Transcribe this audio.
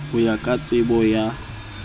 ho ya ka tsebo ya